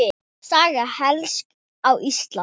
Saga hekls á Íslandi